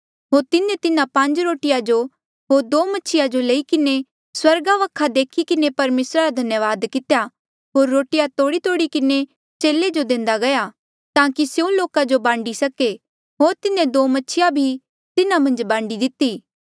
होर तिन्हें तिन्हा पांज रोटिया जो होर दो मछिया जो लई किन्हें स्वर्गा वखा देखी किन्हें परमेसरा रा धन्यावाद कितेया होर रोटिया तोड़ीतोड़ी किन्हें चेले जो देंदा गया ताकि स्यों लोका जो खाणा बांडी सके होर तिन्हें दो मछिया भी तिन्हा मन्झ बांडी दिती